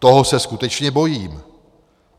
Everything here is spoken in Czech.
Toho se skutečně bojím.